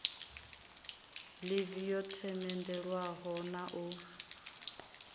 ḽivi yo themendelwaho na u